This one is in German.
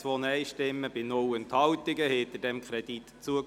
Somit hätten wir die Grundlagen gerade direkt dazu.